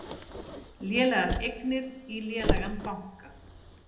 Lélegar eignir í lélegan banka